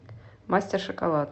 мастер шоколад